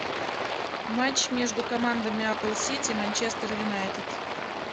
матч между командами апл сити манчестер юнайтед